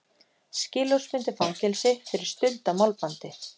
Skilorðsbundið fangelsi fyrir stuld á málbandi